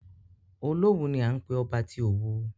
Olówù ni à ń pé ọba tí Òwu.